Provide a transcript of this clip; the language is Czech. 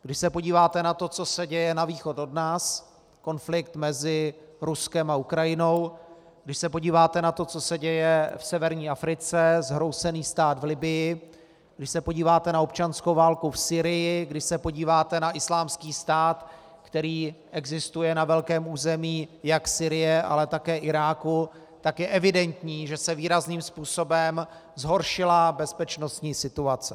Když se podíváte na to, co se děje na východ od nás, konflikt mezi Ruskem a Ukrajinou, když se podíváte na to, co se děje v severní Africe, zhroucený stát v Libyi, když se podíváte na občanskou válku v Sýrii, když se podíváte na Islámský stát, který existuje na velkém území jak Sýrie, ale také Iráku, tak je evidentní, že se výrazným způsobem zhoršila bezpečnostní situace.